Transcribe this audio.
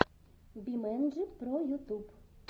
бимэнджи про ютуб